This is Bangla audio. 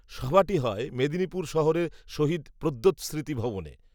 সভাটি হয় মেদিনীপুর শহরের শহিদ প্রদ্যোত্, স্মৃতি ভবনে